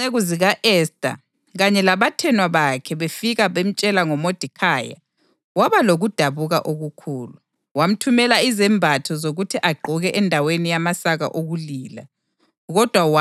Kwathi izinceku zika-Esta kanye labathenwa bakhe befika bemtshela ngoModekhayi, waba lokudabuka okukhulu. Wamthumela izembatho zokuthi agqoke endaweni yamasaka okulila, kodwa wala ukuzamukela.